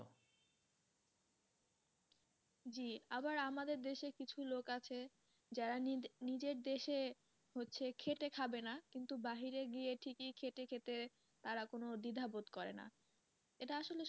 জি আবার আমাদের দেশে কিছু লোক আছে যারা নিজ~নিজের দেশে হচ্ছে খেটে খাবে না কিন্তু বাহিরে গিয়ে ঠিকই খেটে খেতে তারা কোনো দ্বিধা বোধ করেনা এটা আসলে,